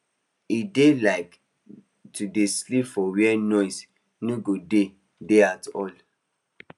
he dey like to dey sleep for where noise no go dey dey at all